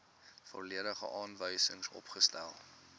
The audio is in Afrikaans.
volledige aanwysings opgestel